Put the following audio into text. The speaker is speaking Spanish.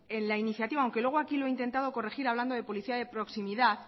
en la iniciativa aunque luego aquí lo ha intentado corregir hablando de policía de proximidad